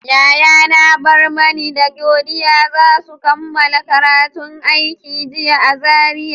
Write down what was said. Yayana Barmani da Godiya za su kammala karatun aikin jinya a Zaria.